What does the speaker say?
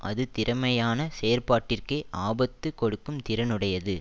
அது திறமையான செயற்பாட்டிற்கே ஆபத்து கொடுக்கும் திறனையுடையது